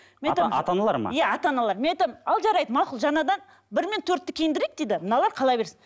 ата аналар ма иә ата аналар мен айтамын ал жарайды мақұл жаңадан бір мен төртті киіндірейік дейді мыналар қала берсін